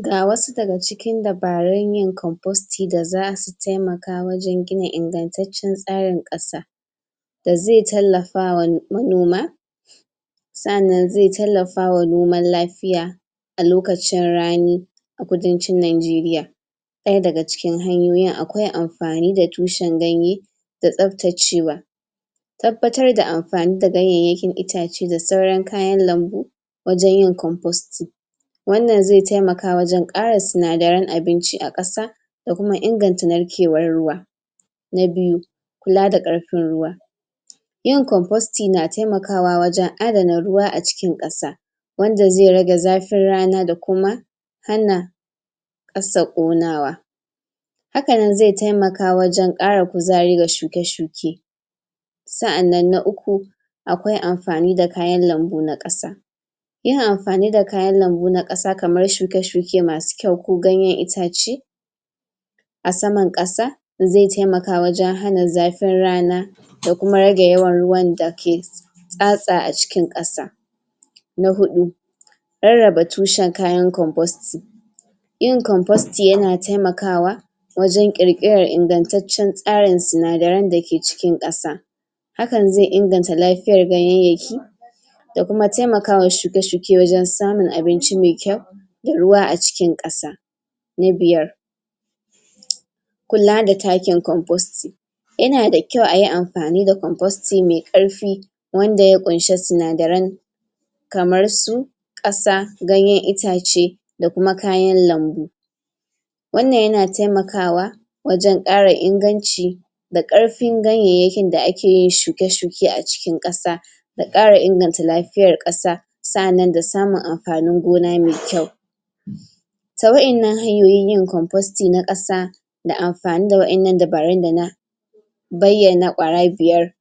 Ga wasu daga cikin dabarun yin komfosti da za su taimka wajen gina ingantacccen tsarin ƙasa da zai tallafawa manoma sa'annan zai taimkawa noman lafiya a lokacin rani a kudancin Nijeriya daya daga cikin hanyoyin akwai amfani da tushen ganye da tsabtacewa tabbatar da amfani da ganyayyakin itace da sauran kayan lambu wajen yin komfosti wannan zai taimka wajen ƙara sinadaren abinci a ƙasa da kuma inganta narkewar ruwa na biyu kula da ƙarfin ruwa yin komfosti na taimakawa wajen adana ruwa a cikin ƙasa wanda zai rage zafin rana da kuma hana ƙasa ƙonawa hakanan zai taimaka wajen ƙara kuzari ga shuke-shuke sa'annan na uku akwai amfani da kayan lambu na ƙasa yin amfani da kayan lambu na ƙasa kamar shuke-shuke masu kyau ko ganyen itace a saman ƙasa zai taimaka wajen hana zafin rana da kuma rage yawan ruwan dake tsa-tsa a cikin ƙasa na huɗu rarraba tushen kayan komfosti yin komfosti yana taimakawa wajen ƙirkiran ingantaccen tsarin sinadaran dake cikin ƙasa hakan zai inganta lafiyar ganyayyaki da kuma taimakawa shuke-shuke wujen samun abinci mai kyau da ruwa a cikin ƙasa na biyar kula da takin komfosti yana da kyau ayi amfani da komfosti mai ƙarfi wanda ya ƙunshi sinadara kamr su ƙasa ganyen itace da kuma kayan lambu wannan yana taimakawa wajen ƙara inganci da ƙarfin ganyayyakin da ake yin shuke-shuke a cikin ƙasa da ƙara inganta lafiyar ƙasa sa'annan da samun amfani gona mai kyau ta waɗannan hanyoyin kombosti na ƙasa da amfani da waɗannan dabarun da na bayyana ƙwara biyar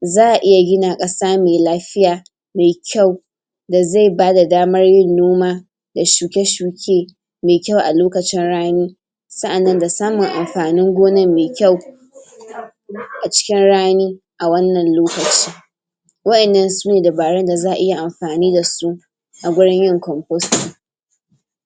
za a iya gina ƙasa mai lafiya mai kyau da zai bada daman yin noma da shuke-shuke mai kyau a lokacin rani sa'annan da samun amfanin gonan mai kyau a cikin rani a wannan lokaci waɗannan sune darun da za a iya amfani da su a wurin yin komfosti